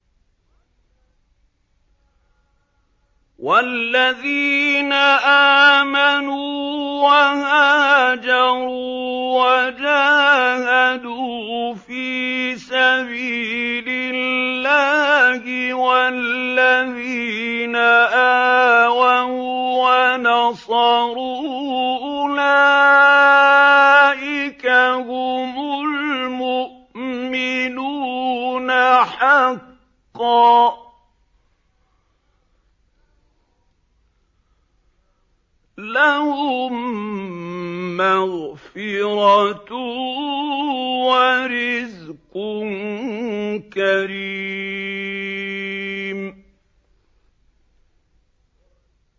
وَالَّذِينَ آمَنُوا وَهَاجَرُوا وَجَاهَدُوا فِي سَبِيلِ اللَّهِ وَالَّذِينَ آوَوا وَّنَصَرُوا أُولَٰئِكَ هُمُ الْمُؤْمِنُونَ حَقًّا ۚ لَّهُم مَّغْفِرَةٌ وَرِزْقٌ كَرِيمٌ